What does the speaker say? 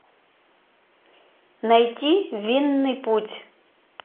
найти винный путь